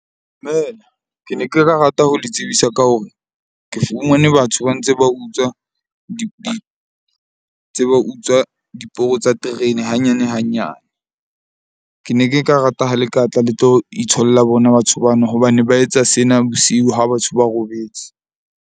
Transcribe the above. Dumela, ke ne ke ka rata ho le tsebisa ka hore ke fumane batho ba ntse ba utswa tse ba utswa diporo tsa terene hanyane hanyane. Ke ne ke ka rata ha le ka tla le tlo itholla bona batho bano, hobane ba etsa sena bosiu ha batho ba robetse.